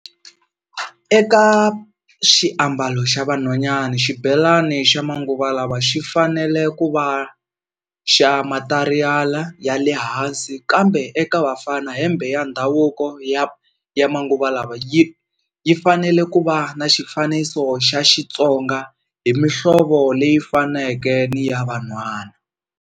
Eka xiambalo xa vanhwanyani xibelani xa manguva lawa xi fanele ku va xa matariyali ya le hansi, kambe eka vafana hembe ya ndhavuko ya ya manguva lawa yi yi fanele ku va na xifaniso xa Xittsonga hi mihlovo leyi faneke ni ya vanhwana.